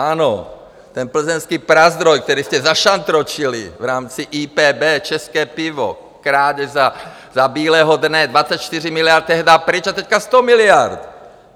Ano, ten Plzeňský Prazdroj, který jste zašantročili v rámci IPB, české pivo, krádež za bílého dne, 24 miliard tehdy pryč, a teď 100 miliard!